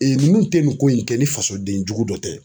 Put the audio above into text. ninnu tɛ nin ko in kɛ ni fasoden jugu dɔ tɛ.